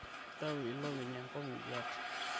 itauto ilopeny enkop iduat